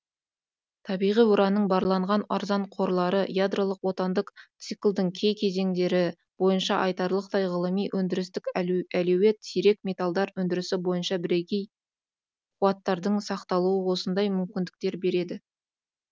табиғи уранның барланған арзан қорлары ядролық отандық циклдың кей кезеңдері бойынша айтарлықтай ғылыми өндірістік әлеует сирек металдар өндірісі бойынша бірегей қуаттардың сақталуы осындай мүмкіндіктер берді